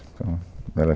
Então, ela